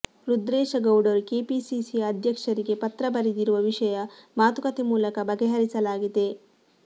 ರುದ್ರೇಶಗೌಡರು KPCC ಅಧ್ಯಕ್ಷರಿಗೆ ಪತ್ರ ಬರೆದಿರುವ ವಿಷಯ ಮಾತುಕತೆ ಮೂಲಕ ಬಗೆಹರಿಸಲಾಗಿದೆ